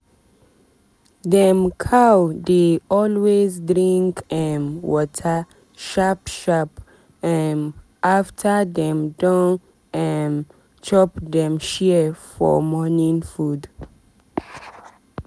dem cow dey always drink um water sharp sharp um after dem don um chop dem share for morning food.